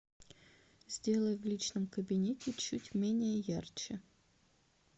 сделай в личном кабинете чуть менее ярче